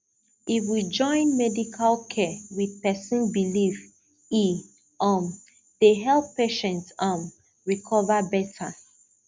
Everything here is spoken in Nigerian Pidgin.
if we join medical care with person belief e um dey help patient um recover better